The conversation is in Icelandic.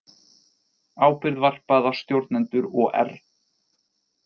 Ábyrgð varpað á stjórnendur OR